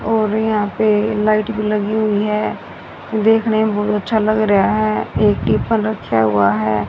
और यहां पे लाइट भी लगी हुई है देखने में बहुत अच्छा लग रहा है एक टीफन रखा हुआ है।